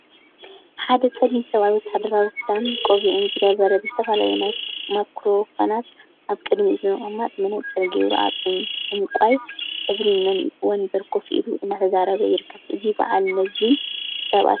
ሓደ ፀሊም ሰብአይ ወታሃደራዊ ክዳንን ቆቢዕን ዝገበረ ብዝተፈላለዩ ማክሮፎናት አብ ቅድሚኡ ብምቅማጥ መነፀረ ገይሩ አብ ዕንቋይ ሕብሪ ወንበረ ኮፍ ኢሉ እናተዛረበ ይርከብ፡፡ እዚ በዓል መዚ ሰብአይ ሽሙ መን ይበሃል?